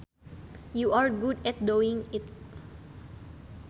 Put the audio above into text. You are good at doing it